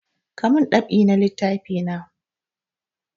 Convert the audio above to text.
Ka mun dab'i na littafi na!